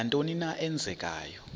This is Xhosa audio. nantoni na eenzekayo